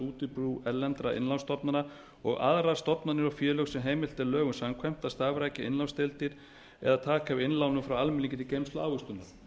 útibú erlendra innlánsstofnana og aðrar stofnanir og félög sem heimilt er lögum samkvæmt að starfrækja innlánsdeildir eða taka við innlánum frá almenningi til geymslu og ávöxtunar